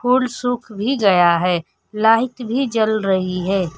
फूल सुख भी गया है लाइट भी जल रही है।